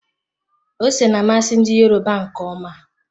Ose na-amasị ndi Yoruba nke ọma.